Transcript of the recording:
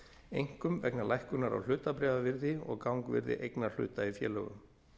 einkum vegna lækkunar á hlutabréfaverði og gangvirði eignarhluta í félögum